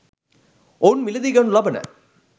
ඔවුන් මිලදී ගනු ලබන